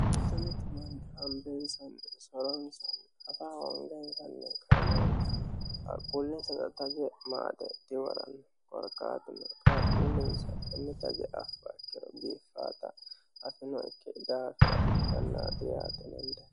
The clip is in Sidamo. Mitu mitu manni soronsoni afa hongasinni kainoonni qaaqquullinsa taje maaxe dawaranni gorqaatine qaaqquullinsa taje afaakkiro biiffata afinokke daafira ikkanna diyaateensa